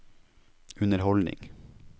underholdning